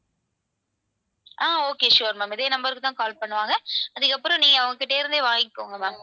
ஆஹ் okay sure ma'am இதே number க்கு தான் call பண்ணுவாங்க அதுக்கப்புறம் நீங்க அவங்ககிட்ட இருந்தே வாங்கிகோங்க ma'am